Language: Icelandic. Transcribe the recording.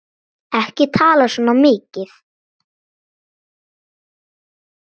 Ekki tala svona mikið!